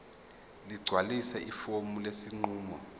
ligcwalise ifomu lesinqumo